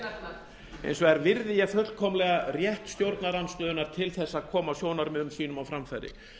þingmaður hins vegar virði ég fullkomlega rétt stjórnarandstöðunnar til að koma sjónarmiðum sínum á framfæri